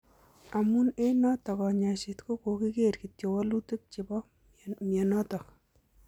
Amun en noton konyoiset ko koger kityok wolutik chepo moinoton.